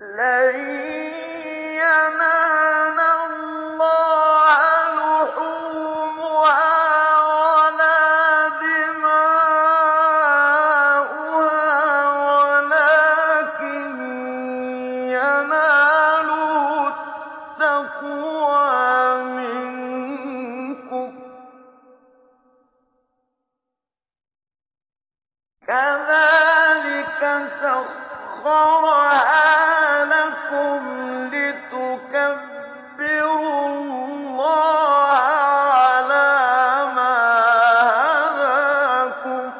لَن يَنَالَ اللَّهَ لُحُومُهَا وَلَا دِمَاؤُهَا وَلَٰكِن يَنَالُهُ التَّقْوَىٰ مِنكُمْ ۚ كَذَٰلِكَ سَخَّرَهَا لَكُمْ لِتُكَبِّرُوا اللَّهَ عَلَىٰ مَا هَدَاكُمْ ۗ